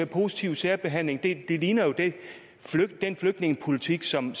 positive særbehandling ligner jo den flygtningepolitik som